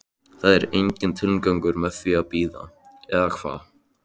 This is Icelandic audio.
Það er enginn tilgangur með því að bíða, eða hvað?